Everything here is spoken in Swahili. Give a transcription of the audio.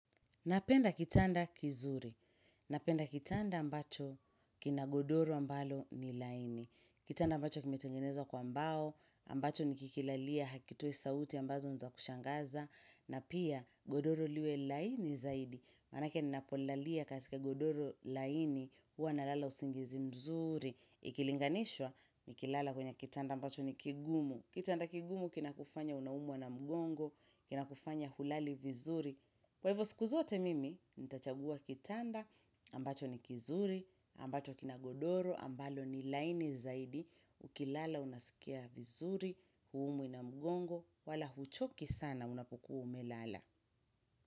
Napenda kitanda kizuri. Napenda kitanda ambacho kina godoro ambalo ni laini. Kitanda ambacho kime tengenezwa kwa mbao, ambacho ni kikilalia hakitoi sauti ambazo niza kushangaza, na pia godoro liwe laini zaidi. Manake ni napolalia kasika godoro laini uwa na lala usingizi mzuri. Ikilinganishwa ni kilala kwenye kitanda ambacho ni kigumu. Kitanda kigumu kina kufanya unaumwa na mgongo, kina kufanya hulali vizuri. Kwa hivyo sikuzote mimi, nitachagua kitanda, ambacho ni kizuri, ambacho kinagodoro, ambalo ni laini zaidi, ukilala unasikia vizuri, huumwi namgongo, wala huchoki sana unapokuwa umelala.